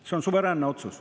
See on suveräänne otsus.